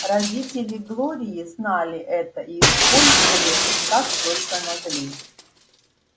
родители глории знали это и использовали как только могли